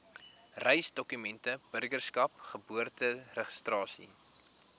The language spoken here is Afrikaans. reisdokumente burgerskap geboorteregistrasie